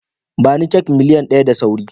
Ba ni cak miliyan ɗaya da sauri